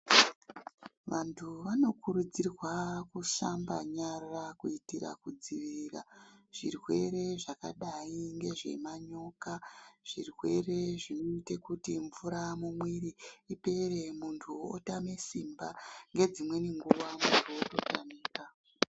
Vanhu vanokurudzirwa kushamba nyara kuitira kudzivirira zvirwere zvakadayi ngemanyoka. Zvirwere zvinoita kuti mvura mumwiri ipere munhu otame simba. Nedzimweni nguva munhu ototamika.